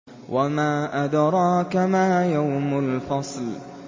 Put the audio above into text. وَمَا أَدْرَاكَ مَا يَوْمُ الْفَصْلِ